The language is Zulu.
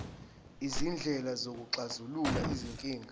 izindlela zokuxazulula izinkinga